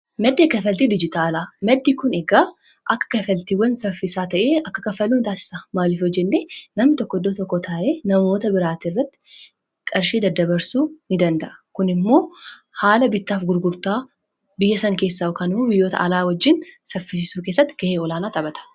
maddi kafaltii dijitaalaa maddii kun eegaa akka kafaltiiwwan saffisaa ta'ee akka kafaluu taasisa maaliif hojinne namni tokkodo tokko taa'ee namoota biraatii irratti qarshii daddabarsuu ni danda'a kun immoo haala bittaaf gurgurtaa biyya san biyyoota alaa wajjiin saffisuu keessatti ga'ee olaanaa taphata.